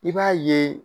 I b'a ye